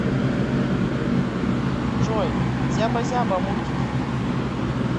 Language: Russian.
джой зяба зяба мультики